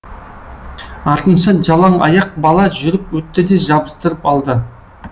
артынша жалаң аяқ бала жүріп өтті де жабыстырып алды